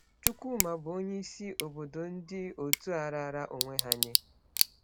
Chukwuma bụ onye isi obodo ndị otu a raara onwe ha nye.